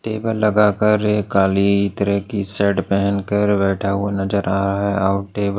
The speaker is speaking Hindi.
टेबल लगाकर एक काली तरह की शर्ट पहनकर बैठा हुआ नजर आ रहा है और टेब --